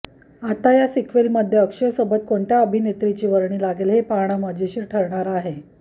आता या सिक्वेलमध्ये अक्षयसोबत कोणत्या अभिनेत्रीची वर्णी लागेल हे पाहणं मजेशीर ठरणार आहे